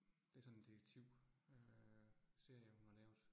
Det sådan detektivserie, hun har lavet